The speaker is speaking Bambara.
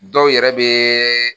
Dɔw yɛrɛ be